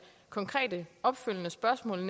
konkrete opfølgende spørgsmål